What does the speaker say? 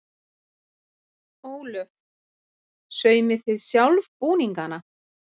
Ólöf: Saumið þið sjálf búningana?